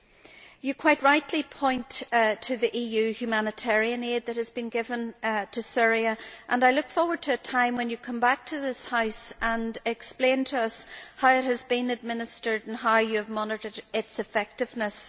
She quite rightly points to the EU humanitarian aid that has been given to Syria and I look forward to a time when she comes back to this House and explains to us how it has been administered and how she has monitored its effectiveness.